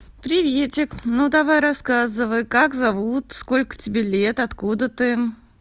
приветик ну давай рассказывай как зовут сколько тебе лет откуда ты